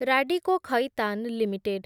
Radico Khaitan limited